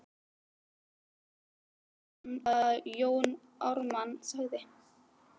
heyrði hann að Jón Ármann sagði.